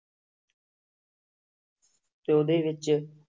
ਤੇ ਉਹਦੇ ਵਿੱਚ